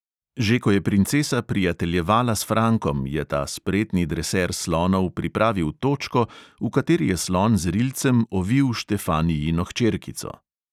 Že ko je princesa prijateljevala s frankom, je ta spretni dreser slonov pripravil točko, v kateri je slon z rilcem ovil štefanijino hčerkico.